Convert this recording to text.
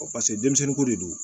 paseke denmisɛnninko de do